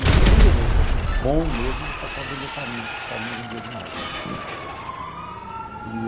E se o vendedor fosse bom mesmo, eles passavam a vender farinha, porque farinha vendia demais, né?